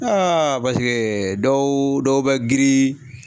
paseke dɔw dɔw bɛ giri